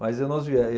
Mas eu não